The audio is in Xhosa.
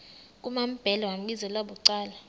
kumambhele wambizela bucala